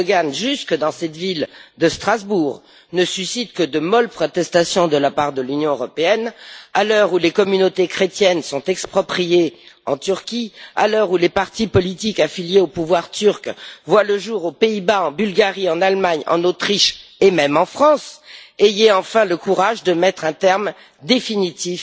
Erdoğan, jusque dans cette ville de Strasbourg, ne suscitent que de molles protestations de la part de l'Union européenne, à l'heure où les communautés chrétiennes sont expropriées en Turquie, à l'heure où des partis politiques affiliés au pouvoir turc voient le jour aux Pays Bas, en Bulgarie, en Allemagne, en Autriche et même en France, ayez enfin le courage de mettre un terme définitif